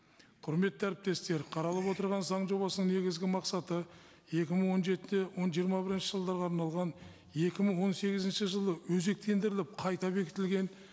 құрметті әріптестер қаралып отырған заң жобасының негізгі мақсаты екі мың он жеті жиырма бірінші жылдарға арналған екі мың он сегізінші жылы өзектендіріліп қайта бекітілген